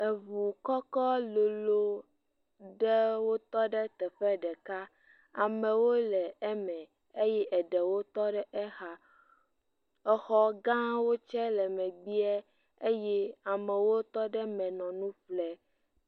Eŋu kɔkɔ lolo ɖewo tɔ ɖe teƒe ɖeka. Amewo le eme eye eɖewo tɔ ɖe exa, exɔ gãwo tsɛ le meg bee eye amewo tɔ ɖe me le nu ƒlem.